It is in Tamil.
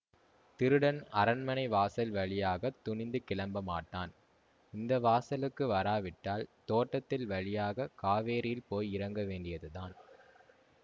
திருடன் அரண்மனை வாசல் வழியாக துணிந்து கிளம்பமாட்டான் இந்த வாசலுக்கு வராவிட்டால் தோட்டத்தின் வழியாக காவேரியில் போய் இறங்க வேண்டியது தான்